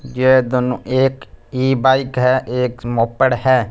यह दोनों एक ही ई बाइक है एक मोपड़ है।